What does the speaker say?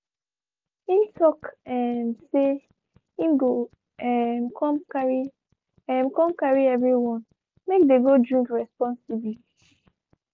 him talk um say him go um come carry um come carry everyone make the um go drink responsibly